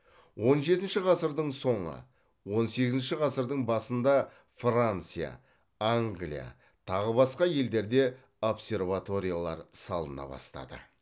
он жетінші ғасырдың соңы он сегізінші ғасырдың басында франция англия тағы басқа елдерде обсерваториялар салына бастады